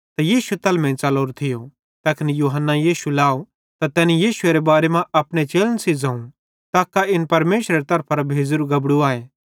त यीशु तैलमेइं च़लोरो थियो ज़ैखन यूहन्ने यीशु लाव त तैनी यीशुएरे बारे मां अपने चेलन सेइं ज़ोवं तक्का इन परमेशरे तरफां भेज़ोरू बलिदानेरू गबड़ू आए